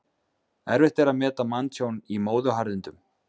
Erfitt er að meta manntjón í móðuharðindum.